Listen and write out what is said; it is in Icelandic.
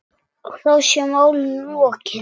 Og þá sé málinu lokið.